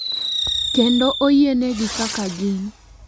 Kendo oyienegi kaka gin.